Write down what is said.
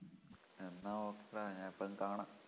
എന്നാ okay ടാ ഇനി എപ്പോഴെങ്കിലും കാണാം